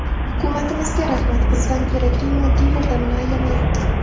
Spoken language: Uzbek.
Hukumatimizga rahmat, bizdan kerakli moddiy yordamini ayamayapti.